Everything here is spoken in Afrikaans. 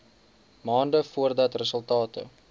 maande voordat resultate